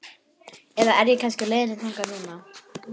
Eða er ég kannski á leiðinni þangað núna?